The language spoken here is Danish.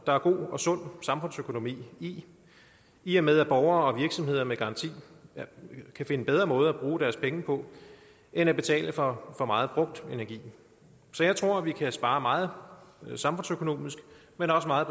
er god og sund samfundsøkonomi i i og med at borgere og virksomheder med garanti kan finde bedre måder at bruge deres penge på end at betale for for meget brugt energi så jeg tror vi kan spare meget samfundsøkonomisk men også meget